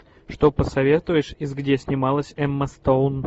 что посоветуешь из где снималась эмма стоун